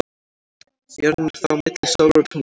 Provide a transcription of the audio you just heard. Jörðin er þá milli sólar og tungls.